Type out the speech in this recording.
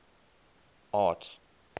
arts